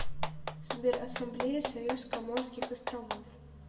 сбер ассамблея союз коморских островов